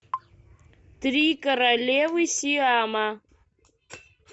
три королевы сиама